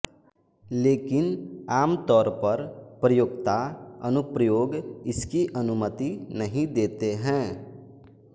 लेकिन आमतौर पर प्रयोक्ता अनुप्रयोग इसकी अनुमति नहीं देते हैं